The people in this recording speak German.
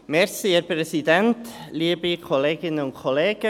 Kommissionssprecher der JuKo.